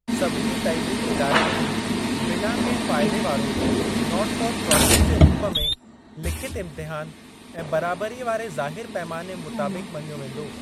सभिनी तइलीमी इदारनि खे बिना कहिं फ़ाइदे वारो 'नॉट फॉर प्रॉफिट' जे रूप में लिखित इम्तिहान ऐं बराबरीअ वारे ज़ाहिर पैमाने मुताबिक़ मञियो वेंदो।